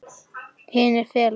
Hinir fela sig.